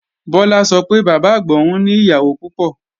Bọlá sọ pé Bàbá-àgbà òun ni ìyàwó púpọ̀